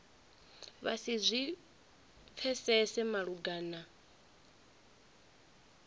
vha si zwi pfesese malugana